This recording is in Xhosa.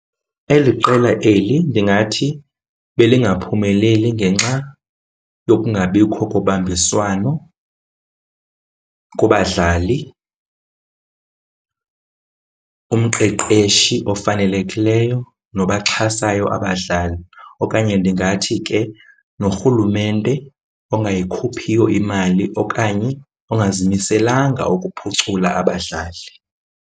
Eli qela eli ndingathi belingaphumeleli ngenxa yokungabikho kobambiswano kubadlali, umqeqeshi ofanelekileyo nobaxhasayo abadlali. Okanye ndingathi ke norhulumente ongayikhuphiyo imali okanye ongazimiselanga ukuphucula abadlali.